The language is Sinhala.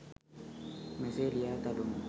මෙසේ ලියා තබමු.